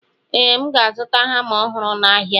Ee, M ga-azụta hama ọhụrụ n'ahịa.